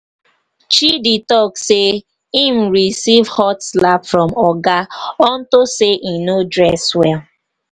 chidi talk say im receive hot slap from oga unto say he no dress well.